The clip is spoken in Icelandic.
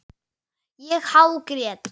Ég hágrét.